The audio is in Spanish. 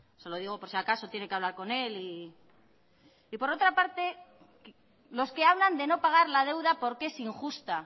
se lo digo por si acaso tiene que hablar con él y por otra parte los que hablan de no pagar la deuda porque es injusta